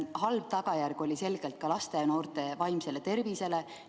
Halb tagajärg oli selgelt ka laste ja noorte vaimsele tervisele.